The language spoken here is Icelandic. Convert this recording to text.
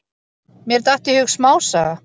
Mér datt í hug smásaga.